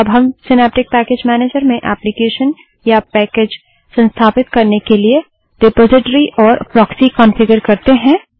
अब हम Synaptic package manager में एक एप्लीकेशन या पैकेज संस्थापित करने के लिए रिपोजिटरी और प्रोक्सी कन्फिगर करते हैं